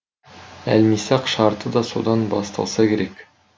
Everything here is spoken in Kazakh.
әлмисақ шарты да содан басталса керек